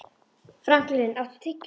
Franklin, áttu tyggjó?